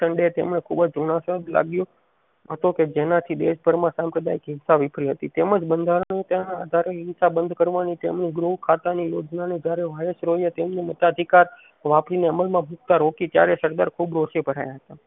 હતો કે જેનાથી દેશ ભર માં સંપ્રદાય ચિંતા વિફરી હતી તેમજ બંધારણ ના આધારે હિંસા બંધ કરવાની તેમની ગૃહ ખાતાની યોજના ને જયારે વાઇસરૉયે તેમના મતાધિકાર વાફી ને અમલ માં ભુક્તા રોકી ત્યારે સરદાર ખુબ રોષે ભરાયા હતા